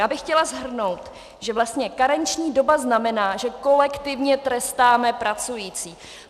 Já bych chtěla shrnout, že vlastně karenční doba znamená, že kolektivně trestáme pracující.